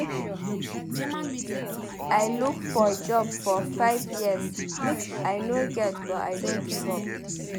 I look for job for five years I no get but I no give up.